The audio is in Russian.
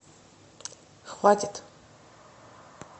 хватит